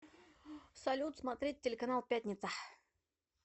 салют смотреть телеканал пятница